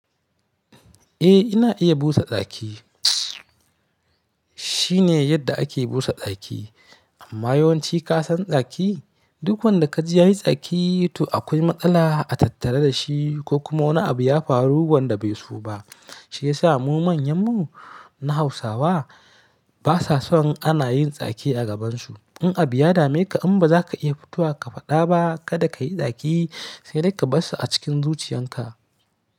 Eh ina iya busa tsaki. Shine yadda ake busa tsaki amma yawanci ka san tsaki duk wanda ka ji yayi tsaki to akwai matsala a tattare da shi ko kuma wani abu ya faru wanda bai so ba. Shi yasa mu manyanmu na Hausawa basa son ana yin daki a gabansu. In abu ya dameka in ba za ka iya fito ka faɗa ba kada ka yi tsaki sai dai ka bar sa a cikin zuciyarka.